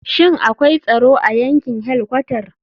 Shin akwai tsaro a yankin helkwatar?